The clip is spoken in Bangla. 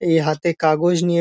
এই হাতে কাগজ নিয়ে --